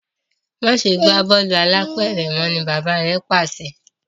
Máṣe gbà bọọlu álàpẹ̀rẹ̀ mọ! bàbà rẹ pàṣẹ.